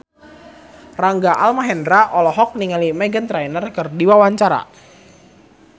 Rangga Almahendra olohok ningali Meghan Trainor keur diwawancara